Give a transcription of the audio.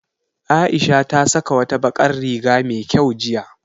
Aisha ta saka wata bakar riga me kyau jiya